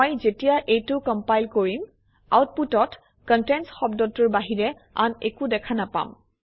মই যেতিয়া এইটো কমপাইল কৰিম আউটপুটত কণ্টেণ্টছ শব্দটোৰ বাহিৰে আন একো দেখা নাপাম